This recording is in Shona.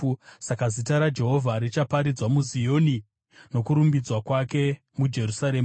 Saka zita raJehovha richaparidzwa muZioni, nokurumbidzwa kwake muJerusarema,